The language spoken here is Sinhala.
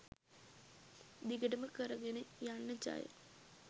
දිගටම කරගෙන යන්න ජය